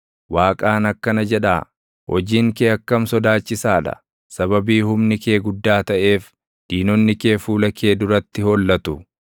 Waaqaan akkana jedhaa; “Hojiin kee akkam sodaachisaa dha! Sababii humni kee guddaa taʼeef, diinonni kee fuula kee duratti hollatu.